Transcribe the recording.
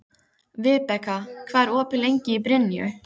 Vibeka, hvað er opið lengi í Brynju?